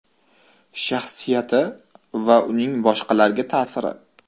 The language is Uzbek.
Shaxsiyati va uning boshqalarga ta’siri.